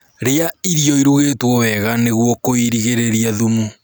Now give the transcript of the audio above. rĩa irio irugitwo wega nĩguo kuirigirirĩa thumu